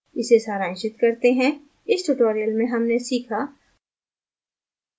इसे सारांशित करते हैं इस tutorial में हमने सीखा